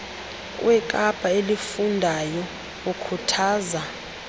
wekapa elifundayo ukhuthaza